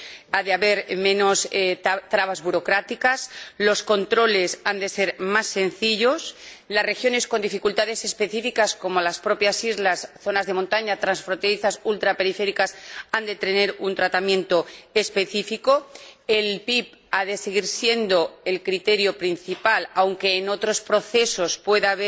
ha de haber menos trabas burocráticas los controles han de ser más sencillos y las regiones con dificultades específicas, como las islas, las zonas de montaña, las regiones transfronterizas y las ultraperiféricas, han de tener un tratamiento específico. El PIB ha de seguir siendo el criterio principal, aunque en otros procesos